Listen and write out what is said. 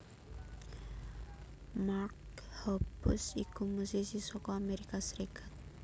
Mark Hoppus iku musisi saka Amerika Serikat